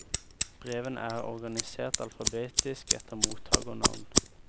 Brevene er organisert alfabetisk etter mottagernavn.